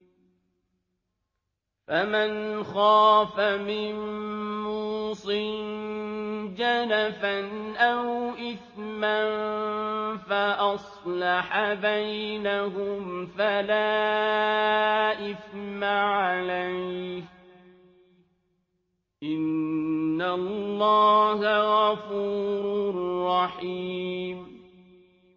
فَمَنْ خَافَ مِن مُّوصٍ جَنَفًا أَوْ إِثْمًا فَأَصْلَحَ بَيْنَهُمْ فَلَا إِثْمَ عَلَيْهِ ۚ إِنَّ اللَّهَ غَفُورٌ رَّحِيمٌ